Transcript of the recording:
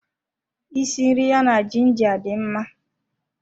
Isi nri ya na ginger dị mma